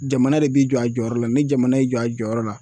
Jamana de b'i jɔ a jɔyɔrɔ la ni jamana y'i jɔ a jɔyɔrɔ la